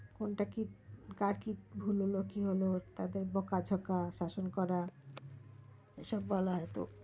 কোনটা কি কার কি ভুল হলো না হলো তাদের বোকা জোকা শাসন করা এইসব বলা